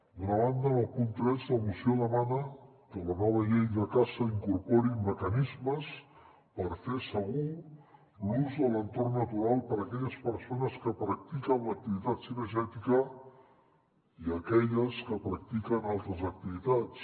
d’una banda en el punt tres la moció demana que la nova llei de caça incorpori mecanismes per fer se·gur l’ús de l’entorn natural per a aquelles persones que practiquen l’activitat cinegè·tica i aquelles que practiquen altres activitats